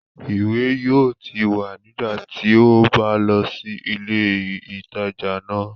Ìwé yóò ti wà nígbà tí o bá lọ sí ilé ìtajà náà